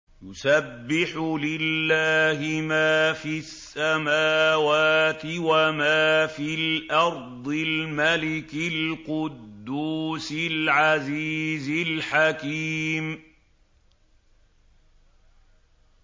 يُسَبِّحُ لِلَّهِ مَا فِي السَّمَاوَاتِ وَمَا فِي الْأَرْضِ الْمَلِكِ الْقُدُّوسِ الْعَزِيزِ الْحَكِيمِ